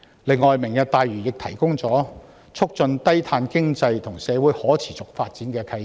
再者，"明日大嶼願景"提供了促進低碳經濟和社會可持續發展的契機。